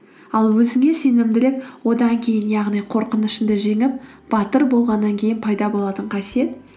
ал өзіңе сенімділік одан кейін яғни қорқынышыңды жеңіп батыр болғаннан кейін пайда болатын қасиет